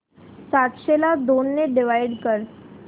सातशे ला दोन ने डिवाइड कर